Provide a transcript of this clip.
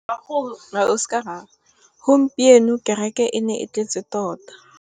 Gompieno kêrêkê e ne e tletse tota.